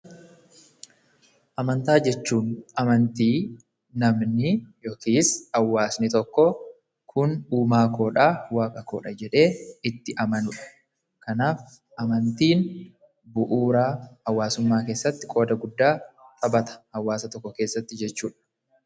Amantaa jechuun amantii namni yokiis hawaasni tokko kun uumaakoodhaa waaqakoodha jedhee itti amanudha. Kanaaf amantiin bu'uuraa hawaasummaa keessatti qooda guddaa taphata hawaasa tokko keessatti jechuudha.